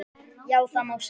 Já, það má segja.